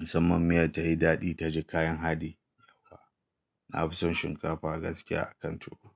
Musamman miyar tayi daɗi ta ji kayan haɗi. Na fi son shinkafa gaskiya a kan tuwo.